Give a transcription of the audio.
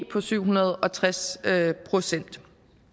på syv hundrede og tres procent